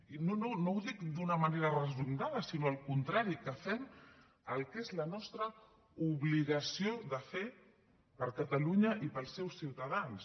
i no no no ho dic d’una manera resignada sinó al contrari que fem el que és la nostra obligació de fer per catalunya i pels seus ciutadans